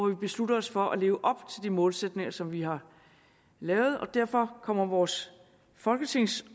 vi beslutter os for at leve op til de målsætninger som vi har lavet og derfor kommer vores folketingsår